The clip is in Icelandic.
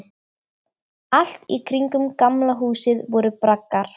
Allt í kringum Gamla húsið voru braggar.